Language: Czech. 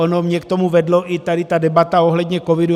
Ona mě k tomu vedla i tady ta debata ohledně covidu.